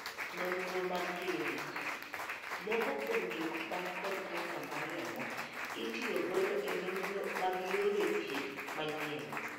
Nonro mag klinik. Moko kuom jok man kod kansa mar remo itiyo godo e nonro mag yore thieth manyien.